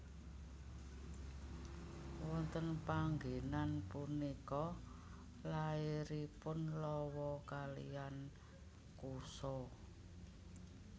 Wonten panggenan punika lairipun Lawa kaliyan Kusa